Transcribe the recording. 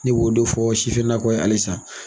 Ne b'o de fɔ sifinakaw ye halisa.